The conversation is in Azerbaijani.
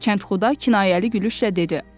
Kəndxuda kinayəli gülüşlə dedi: